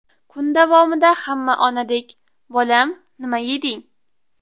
Kun davomida hamma onadek ‘Bolam, nima yeding?